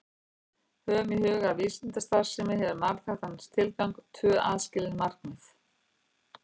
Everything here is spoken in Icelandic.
Höfum í huga að vísindastarfsemi hefur tvíþættan tilgang, tvö aðskilin markmið.